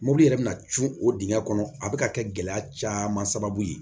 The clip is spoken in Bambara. Mobili yɛrɛ bɛna cun o dingɛn kɔnɔ a bɛ ka kɛ gɛlɛya caman sababu ye